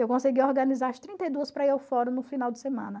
Eu consegui organizar as trinta e duas para ir ao fórum no final de semana.